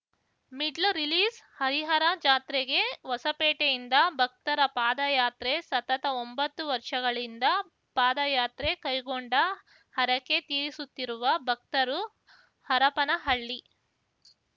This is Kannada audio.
ಮಿಡ್ಲ್ ರಿಲೀಸ್‌ಹರಿಹರ ಜಾತ್ರೆಗೆ ಹೊಸಪೇಟೆಯಿಂದ ಭಕ್ತರ ಪಾದಯಾತ್ರೆ ಸತತ ಒಂಬತ್ತು ವರ್ಷಗಳಿಂದ ಪಾದಯಾತ್ರೆ ಕೈಗೊಂಡ ಹರಕೆ ತೀರಿಸುತ್ತಿರುವ ಭಕ್ತರು ಹರಪನಹಳ್ಳಿ